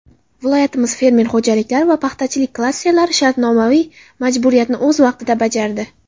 Viloyatimiz fermer xo‘jaliklari va paxtachilik klasterlari shartnomaviy majburiyatni o‘z vaqtida bajardi.